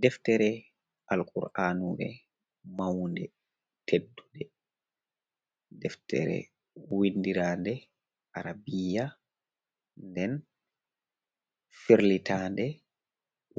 Deftere alkur’anure, maunde, teddude, deftere windirade, arabiya nden firlitande